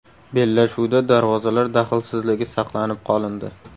Bellashuvda darvozalar daxlsizligi saqlanib qolindi.